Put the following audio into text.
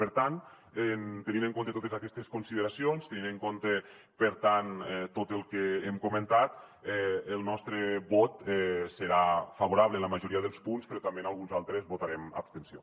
per tant tenint en compte totes aquestes consideracions tenint en compte per tant tot el que hem comentat el nostre vot serà favorable en la majoria dels punts però també en alguns altres votarem abstenció